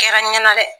Kɛra n ɲɛna dɛ